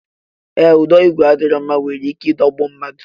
Ee, ụdọ igwe adịghị mma nwere ike idogbu mmadụ